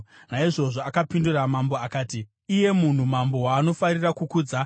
Naizvozvo akapindura mambo akati, “Iye munhu, mambo waanofarira kukudza,